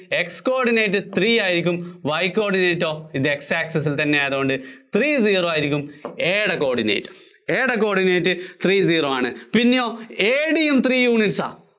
X coordinate three ആയിരിയ്ക്കും, Y coordinate ഒ? ഇത് X access ല്‍ തന്നെയായതുകൊണ്ട് three zero ആയിരിയ്ക്കും AO യുടെ coordinate. AO യുടെ coordinate three zero ആണ്. AD യും three units ആ.